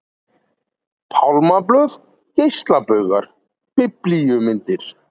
Pálmablöð, geislabaugar, biblíumyndir.